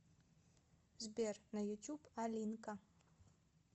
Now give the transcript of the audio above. сбер на ютуб алинка